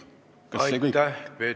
Kas see kõik on normaalne?